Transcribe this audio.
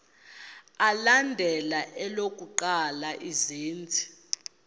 alandela elokuqala izenzi